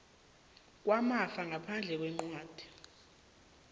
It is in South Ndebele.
kwamafa ngaphandle kwencwadi